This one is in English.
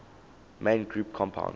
main group compounds